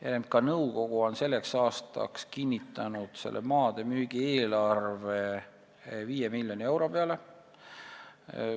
RMK nõukogu on selleks aastaks kinnitanud selliste maade müügi eelarvena 5 miljonit eurot.